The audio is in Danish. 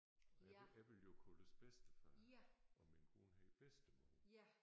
Og jeg jeg ville jo kaldes bedstefar og min kone hedder bedstemor